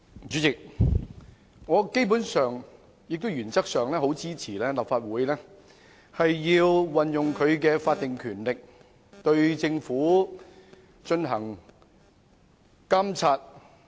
主席，我基本上及原則上支持立法會運用法定權力，對政府進行監察。